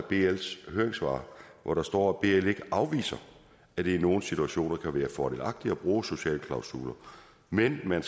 bls høringssvar hvor der står at bl ikke afviser at det i nogle situationer kan være fordelagtigt at bruge sociale klausuler men at man